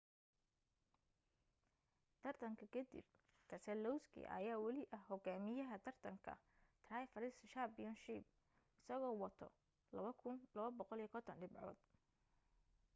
tartanka ka dib keselowski ayaa wali ah hogaamiyaha taratanka drivers' championship isagoo wato 2,250 dhibcood